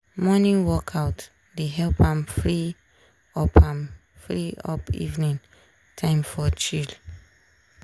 morning workout dey help am free up am free up evening time to chill.